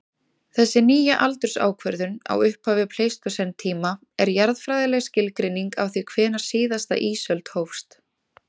Þessi nýja aldursákvörðun á upphafi pleistósentíma er jarðfræðileg skilgreining á því hvenær síðasta ísöld hófst.